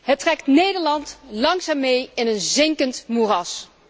Dit trekt Nederland langzaam mee in een zinkend moeras.